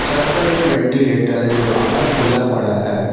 छत पर एक वेंटीलेटर जो आधा खुला पड़ा है।